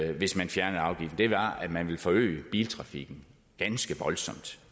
hvis man fjernede afgiften var at man ville forøge biltrafikken ganske voldsomt